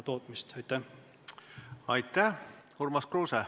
Urmas Kruuse, palun!